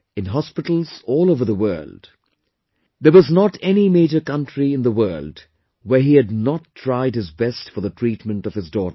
In hospitals all over the world... there was not any major country in the world, where he had not tried his best for the treatment of his daughter